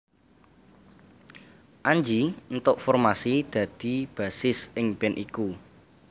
Anji éntuk formasi dadi bassis ing band iku